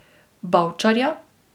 Bavčarja.